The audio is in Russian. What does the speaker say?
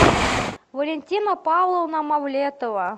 валентина павловна мавлетова